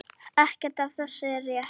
Ekkert af þessu er rétt.